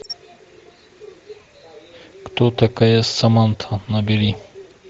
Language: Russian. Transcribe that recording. кто такая саманта набери